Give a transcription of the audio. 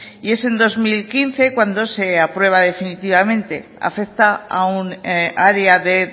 y es en dos mil quince cuando se aprueba definitivamente afecta a un área de